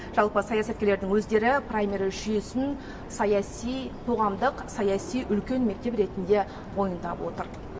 жалпы саясаткерлердің өздері праймериз жүйесін саяси қоғамдық саяси үлкен мектеп ретінде мойындап отыр